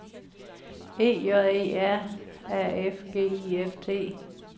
E J E R A F G I F T